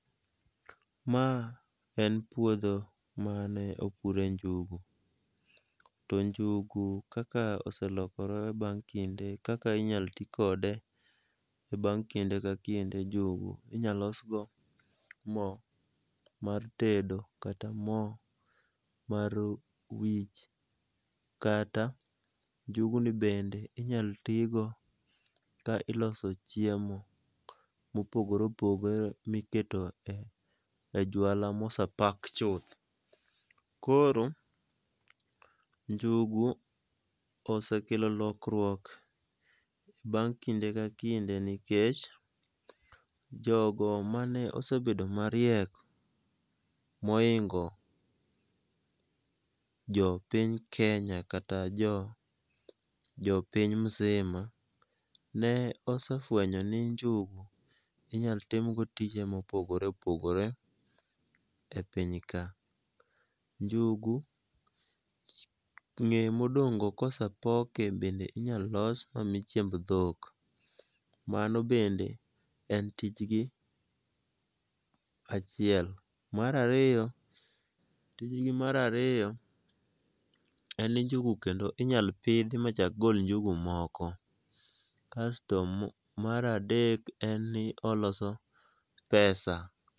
Ma en puodho mane opure njugu. To njugu kaka oselokore bang' kinde kaka inyal tii kode e bang' kinde ka kinde. Njugu inyalosgo moo mar tedo kata moo mar wich kata njuguni bende inyaltigo ka iloso chiemo mopogore opogore miketo e jwala mose pack chuth. Koro njugu osekelo lokruok bang' kinde ka kinde nikech jogo mane osebedo mariek moingo jo piny Kenya kata jo piny mzima nosefuenyo ni njugu inyaltimgo tije mopogore opogore e piny ka. Njugu ng'e modong'go kosepoke bende inyalolos mamii chiemb dhok. Mano bende en tijgi achiel. Mar ariyo, tijgi mar ariyo en njugu kendo inyalopidhi machak gol njugu moko kasto mar adek en ni oloso pesa.